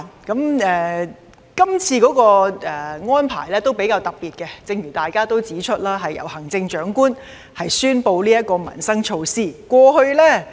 這次的安排較為特別，正如大家指出，是由行政長官宣布這項民生措施。